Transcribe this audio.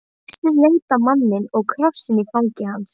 Gissur leit á manninn og krossinn í fangi hans.